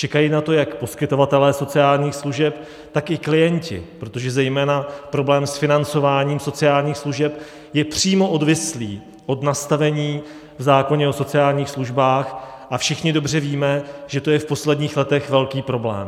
Čekají na to jak poskytovatelé sociálních služeb, tak i klienti, protože zejména problém s financováním sociálních služeb je přímo odvislý od nastavení v zákoně o sociálních službách, a všichni dobře víme, že to je v posledních letech velký problém.